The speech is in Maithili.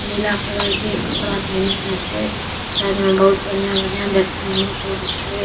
नीला कलर के कपड़ा पहनल छे साइड में बहुत बढ़िया-बढ़िया देखे में निक लगे छे।